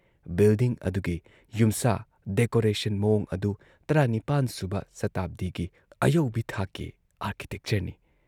Building ꯑꯗꯨꯒꯤ ꯌꯨꯝꯁꯥ decoration ꯃꯑꯣꯡ ꯑꯗꯨ ꯱꯸ ꯁꯨꯕ ꯁꯇꯥꯕꯗꯤꯒꯤ ꯑꯌꯧꯕꯤ ꯊꯥꯛꯀꯤ ꯑꯥꯔꯀꯤꯇꯦꯛꯆꯔꯅꯤ ꯫